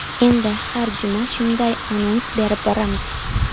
Endi har juma shunday anons berib boramiz.